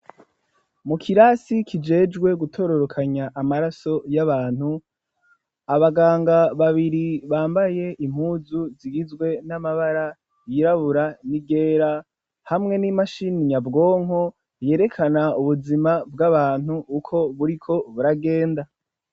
Mu kirasi kijejwe gutororokanya amaraso y'abantu, abaganga babiri bambaye impuzu zigizwe n'amabara yirabura n'iryera hamwe n'imashini nyabwonko yerekana ubuzima bw'abantu uko buriko buragenda.